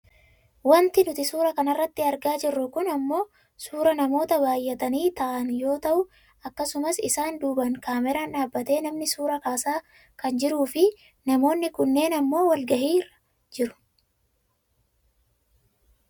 Wanti nuti suuraa kanarratti argaa jirru kun ammoo suuraa namoota baayyatanii taa'aan yoo ta'u akkasumas isaan duubaan kaameraan dhaabbatee namni suuraa kaasaa kan jiruufi namoonni kunneen ammoo wal gahiirra jiru.